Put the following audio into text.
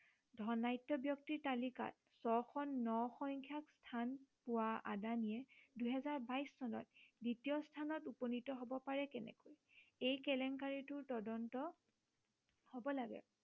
ধনাঢ্য় ব্য়ক্তিৰ তালিকাত ছশ ন সংখ্য়াত স্থান পোৱা আদানীয়ে দুহেজাৰ বাইশ চনত দ্বিতীয় স্থানত উপনীত হব পাৰে কেনেকৈ এই কেলেংকাৰীটোৰ তদন্ত হব লাগে